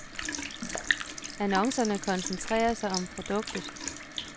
Annoncerne koncentrerer sig om produktet.